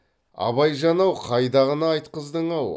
абайжан ау қайдағыны айтқыздың ау